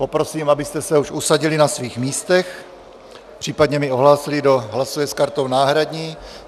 Poprosím, abyste se už usadili na svých místech, případně mi ohlásili, kdo hlasuje s kartou náhradní.